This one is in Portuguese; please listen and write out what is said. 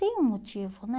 Tem um motivo, né?